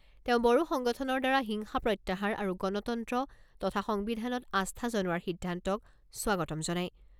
তেওঁ বড়ো সংগঠনৰ দ্বাৰা হিংসা প্ৰত্যাহাৰ আৰু গণতন্ত্ৰ তথা সংবিধানত আস্থা জনোৱাৰ সিদ্ধান্তক স্বাগতম জনায়।